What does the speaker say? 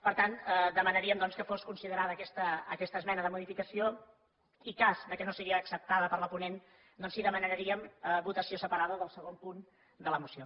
per tant demanaríem doncs que fos considerada aquesta esmena de modificació i cas que no sigui acceptada per la ponent doncs sí que demanaríem votació separada del segon punt de la moció